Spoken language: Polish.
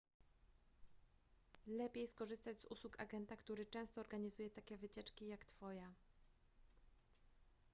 lepiej skorzystać z usług agenta który często organizuje takie wycieczki jak twoja